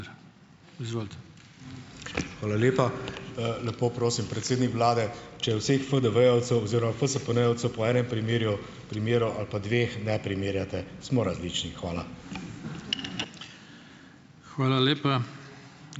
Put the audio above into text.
Hvala lepa. Lepo prosim, predsednik vlade, če vseh FDV-jevcev oziroma FSPN-jevcev po enem primeru ali pa dveh ne primerjate. Smo različni, hvala.